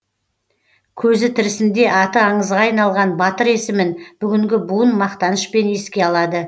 көзі тірісінде аты аңызға айналған батыр есімін бүгінгі буын мақтанышпен еске алады